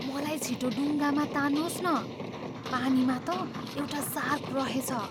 मलाई छिटो डुङ्गामा तान्नुहोस् न, पानीमा त एउटा सार्क रहेछ।